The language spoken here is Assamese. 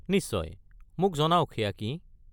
নিশ্চয়, মোক জনাওক সেয়া কি।